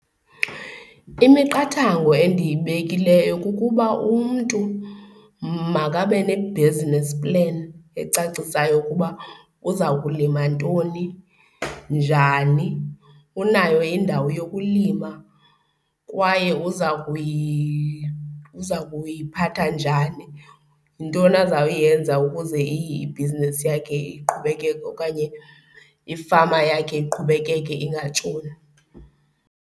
Imiqathango endiyibekileyo kukuba umntu makabe ne-business plan ecacisayo ukuba uza kulima ntoni, njani, unayo indawo yokulima kwaye uza kuyiphatha njani, yintoni azawuyenza ukuze ibhizinesi yakhe iqhubekeke okanye ifama yakhe iqhubekeke ingatshoni.